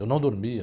Eu não dormia.